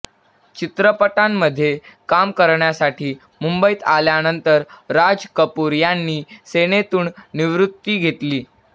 चित्रपटांमध्ये काम करण्यासाठी मुंबईत आल्यानंतर राज कपूर यांनी सेनेतून निवृत्ती घेतली